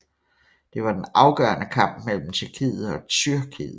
Det var den afgørende kamp mellem Tjekkiet og Tyrkiet